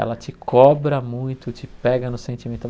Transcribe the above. Ela te cobra muito, te pega no sentimental.